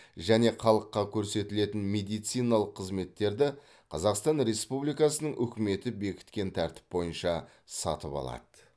және халыққа көрсетілетін медициналық қызметтерді қазақстан республикасының үкіметі бекіткен тәртіп бойынша сатып алады